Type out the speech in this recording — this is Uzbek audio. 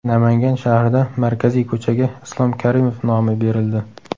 Namangan shahrida markaziy ko‘chaga Islom Karimov nomi berildi.